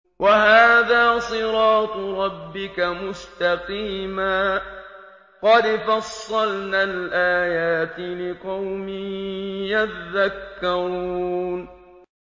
وَهَٰذَا صِرَاطُ رَبِّكَ مُسْتَقِيمًا ۗ قَدْ فَصَّلْنَا الْآيَاتِ لِقَوْمٍ يَذَّكَّرُونَ